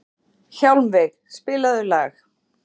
Hjálmveig, spilaðu lag.